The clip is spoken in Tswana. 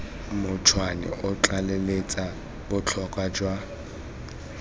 montšhwa o tlaleletsa botlhokwa jwa